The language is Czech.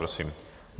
Prosím.